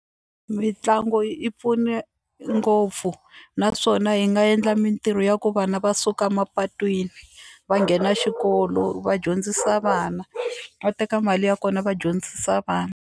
Mitlangu yi pfune ngopfu naswona hi nga endla mintirho ya ku vana va suka mapatwini va nghena xikolo va dyondzisa vana va teka mali ya kona va dyondzisa vana.